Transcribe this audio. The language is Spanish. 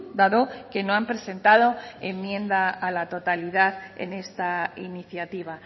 dado que no han presentado enmienda a la totalidad en esta iniciativa